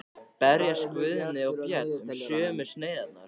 Berjast Guðni og Björn um sömu sneiðarnar?